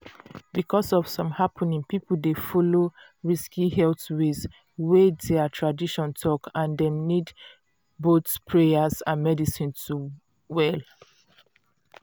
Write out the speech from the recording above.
because of some happening people dey follow risky health ways wey their tradition talk and dem nid boyh prayers and medicine to well.